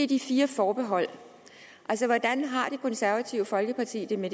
de fire forbehold altså hvordan har det konservative folkeparti det med